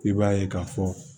I b'a ye k'a fɔ